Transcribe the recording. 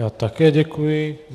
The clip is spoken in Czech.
Já také děkuji.